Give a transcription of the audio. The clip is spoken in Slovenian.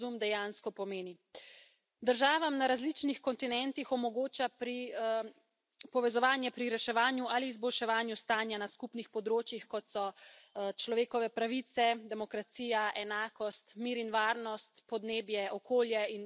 Državam na različnih kontinentih omogoča povezovanje pri reševanju ali izboljševanju stanja na skupnih področjih, kot so človekove pravice, demokracija, enakost, mir in varnost, podnebje, okolje in še bi lahko naštevala.